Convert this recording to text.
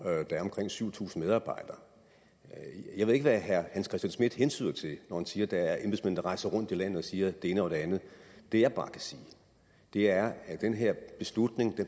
der er omkring syv tusind medarbejdere jeg ved ikke hvad herre hans christian schmidt hentyder til når han siger der er embedsmænd der rejser rundt i landet og siger det ene og det andet det jeg bare kan sige er at den her beslutning